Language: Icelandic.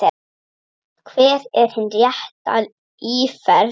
Hver er hin rétta íferð?